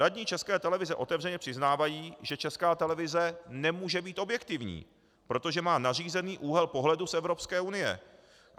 Radní České televize otevřeně přiznávají, že Česká televize nemůže být objektivní, protože má nařízený úhel pohledu z Evropské unie.